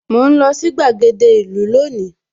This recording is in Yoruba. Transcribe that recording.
Mò ń lọ sí gbàgede ìlú lónìí